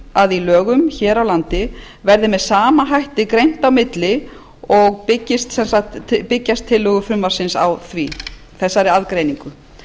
að í lögum hér á landi verði með sama hætti greint þarna á milli og byggjast tillögur frumvarpsins á þessari aðgreiningu